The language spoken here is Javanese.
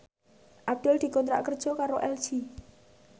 Abdul dikontrak kerja karo LG